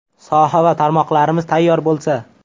Soha va tarmoqlarimiz tayyor bo‘lsa.